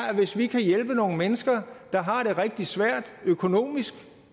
at hvis vi kan hjælpe nogle mennesker der har det rigtig svært økonomisk